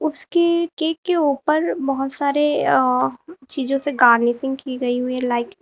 इसके केक के ऊपर बहुत सारे अ चीजों से गार्निशिंग की गई हुई हैं लाइक ।